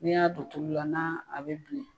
N'i y'a don tulu la n'a a bɛ bilen